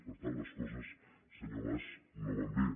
per tant les coses senyor mas no van bé